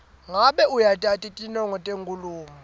ngabe uyatati tinongo tenkhulumo